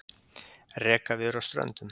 Rekaviður á Ströndum.